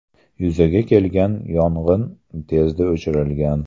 Yuzaga kelgan yong‘in tezda o‘chirilgan.